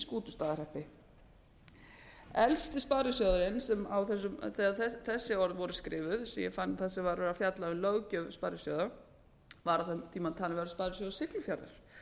skútustaðahreppi elsti sparisjóðurinn þegar þessi orð voru skrifuð sem ég fann þegar var verið að fjalla um löggjöf sparisjóða var á þeim tíma talinn vera sparisjóður siglufjarðar